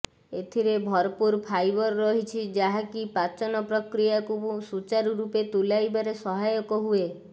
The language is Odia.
ଏଥିରେ ଭରପୂର ଫାଇବର୍ ରହିଛି ଯାହା କି ପାଚନ ପ୍ରକ୍ରିୟାକୁ ସୂଚାରୁ ରୂପେ ତୁଲାଇବାରେ ସହାୟକ ହୁଏ